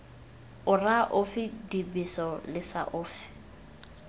ora ofe dibeso lesa ofe